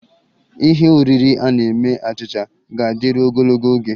Ihe oriri a na-eme achịcha ga-adịru ogologo oge